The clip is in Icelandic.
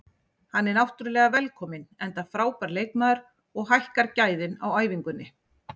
Hann er náttúrulega velkominn enda frábær leikmaður og hækkar gæðin á æfingunni.